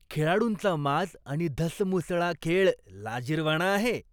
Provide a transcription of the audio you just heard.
खेळाडूंचा माज आणि धसमुसळा खेळ लाजिरवाणा आहे.